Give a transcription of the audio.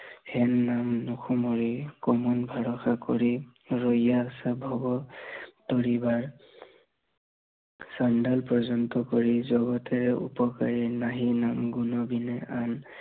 সেন দান সময় কমল ভৰসা কৰি, ৰৈয়া আছা ভৱ তৰিবাৰ চণ্ডাল পৰ্যন্ত কৰি জগতেৰ উপকাৰী নাহি নাম গুণ বিনে আন